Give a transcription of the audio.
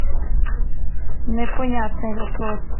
непонятный вопрос